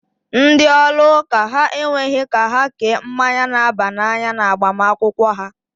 Ndị ụlọ ụka ha ekweghị ka ha kee mmanya na-aba n'anya na agbamakwụkwọ ha.